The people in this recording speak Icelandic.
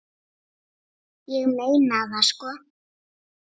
Ég meina það sko.